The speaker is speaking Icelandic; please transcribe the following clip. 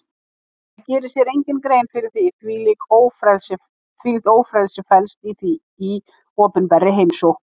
Það gerir sér enginn grein fyrir því hvílíkt ófrelsi felst í opinberri heimsókn.